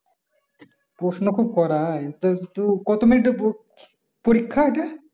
প্রশ্ন খুব করা করা? কত মিনিটের পরীক্ ~পরীক্ষা এটা?